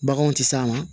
Baganw tɛ s'a ma